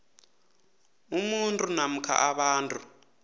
umuntu namkha abantu